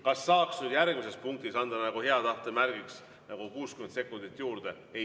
Kas saaks nüüd järgmises punktis anda nagu hea tahte märgiks 60 sekundit juurde?